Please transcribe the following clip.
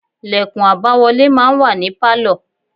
Lẹ̀kùn àbáwọlé máa ń wà ní Pálọ̀.